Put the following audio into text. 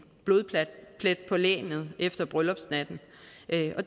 blodplet på lagenet efter bryllupsnatten